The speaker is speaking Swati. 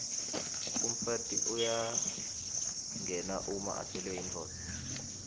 umfati uyangenwa uma afelwe yindvodza